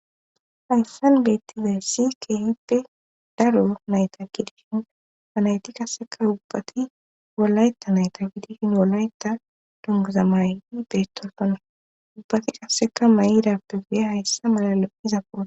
hayssan geettizay si keehippe daro nayta kidishin fanayti kasseka ubbati wolayta nayta kidishin wolayta dongaza may beetosonna ubbati kasseka may7irappe geya hayssa malalo izapo